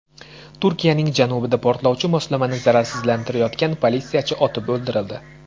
Turkiyaning janubida portlovchi moslamani zararsizlantirayotgan politsiyachi otib o‘ldirildi.